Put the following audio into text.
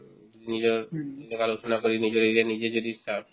উম, যদি নিজৰ আলোচনা কৰি নিজে নিজে নিজে যদি চাই